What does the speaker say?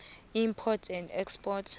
import and export